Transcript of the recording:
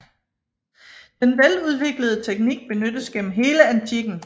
Den veludviklede teknik benyttes gennem hele antikken